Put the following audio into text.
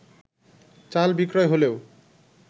চাল বিক্রয় হলেও